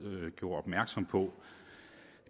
gjorde opmærksom på